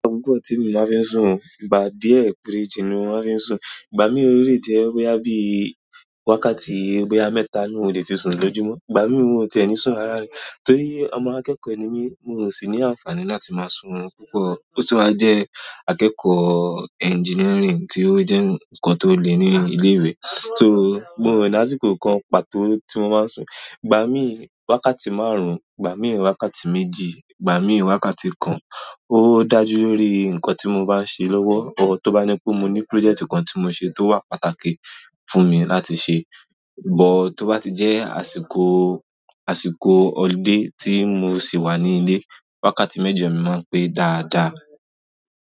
Ki i po tí emi máa ń fi sùn o, ìgbà díẹ̀ péréjì ni wọ́n fi ń sùn. Ìgbà mí ole jẹ́ boyá bí wákàtí boya mẹ́ta ni n o le fi sùn lójú mọ́. Ìgbà mí òun ti ẹni sùn rárá rí. Torí ọmọ akẹ́kọ̀ọ́ ni mí, mi ò sì ní àǹfààní láti máa sùn oorun púpọ̀. Ó sì wá jẹ́ akẹ́kọ̀ọ́ engineering tí ó jẹ́ nǹkan tó le ní ilé ìwé. Só, mo o ní àsìkò kan pàtó tí mo máa ń sùn. Ìgbà mí wákàtí márùn-ún, ìgbà mí wákàtí méjì, ìgbà mí wákàtí kan, ó dájú lórí nǹkan tí mo bá ń ṣe lówó. Or tó bá ní pé mo ní project kan tí mo ṣe tó wà pàtàkì fún mi láti ṣe. But tó bá ti jẹ́ àsìkò, àsìkò ọludé tí mo sì wà ní ilé, wákàtí mẹ́jọ mi máa ń pé dáadáa.